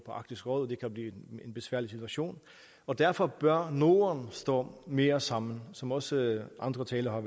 på arktisk råd det kan blive en besværlig situation og derfor bør norden stå mere sammen som også andre talere har